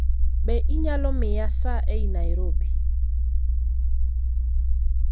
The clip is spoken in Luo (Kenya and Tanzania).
Be inyalo miya saa ei Nairobi